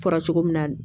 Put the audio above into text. Fɔra cogo min na